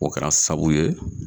O kɛra sabu ye